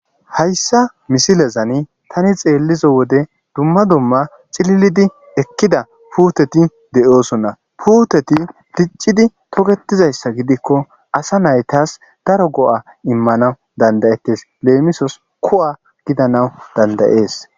Hayssa missileza tani xeelliza wode dumma dumma cililidi ekkida puuteti de'osona puuteti diccidi toketizayssa gidiko asa naytas daro go'a immanaw dandda'etees; leemisos ku'a gidanas dandda'es.